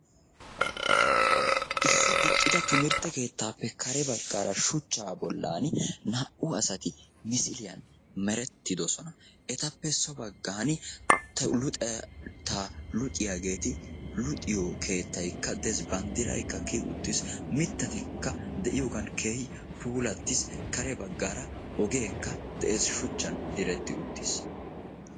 Issi diccida timirttekeettappe kare baggara shuuchcha bollan naa'u asaati misiliyani merettidosona. Etappe so baggani tewuluxeta luxiyagetti luxiyo keettayaka de'ees. Bandiraykka kiyyi uttiis.. Miittatika de'iyogan keehi puulati uttis. Karebaggara ogeka de'ees. Shuchchan diretti uttiis.